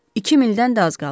İki mildən də az qalıb.